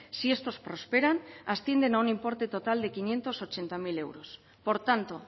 si estos prosperan ascienden a un importe total de quinientos ochenta mil euros por tanto